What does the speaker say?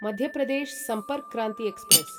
Madhya Pradesh Sampark Kranti express